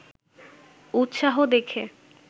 উৎসাহ দেখে